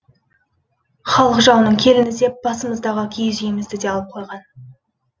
халық жауының келіні деп басымыздағы киіз үйімізді де алып қойған